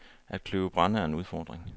At kløve brænde er en udfordring.